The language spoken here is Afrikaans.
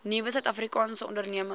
nuwe suidafrikaanse ondernemings